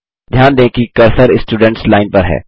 ध्यान दें कि कर्सर स्टुडेंट्स लाइन पर है